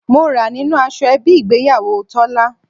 Mo ra nínú aṣọ ẹbí ìgbéyàwó Tọ́lá.